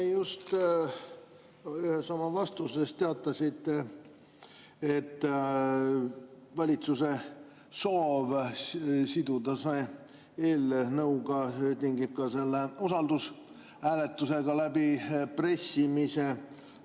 Te just ühes oma vastuses teatasite, et valitsuse soov siduda see tingib selle usaldushääletusega läbipressimise.